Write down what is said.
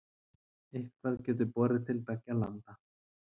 Eitthvað getur borið til beggja landa